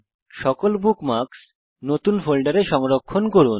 সকল বুকমার্কস নতুন ফোল্ডারে সংরক্ষণ করুন